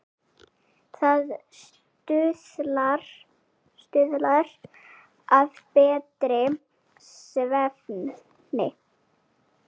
Það stuðlar að betri svefni.